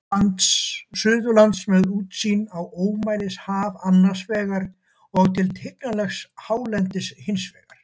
Suðurlands, með útsýn á ómælishaf annars vegar og til tignarlegs hálendis hins vegar.